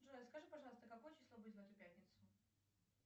джой а скажи пожалуйста какое число будет в эту пятницу